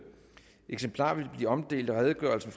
eksemplarer vil blive omdelt og redegørelsen